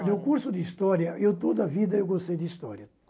Olha, o curso de História... Eu toda a vida eu gostei de História.